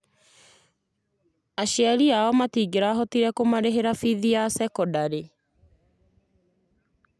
Aciari aao matingĩrahotire kũmarĩhĩra biithi ya thekondarĩ